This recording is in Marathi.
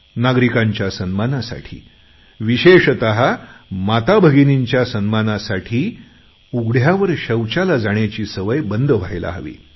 नागरिकांच्या सन्मानासाठी विशेषतः माताभगिनींच्या सन्मानासाठी उघड्यावर शौचाला जाण्याची सवय बंद व्हायला हवी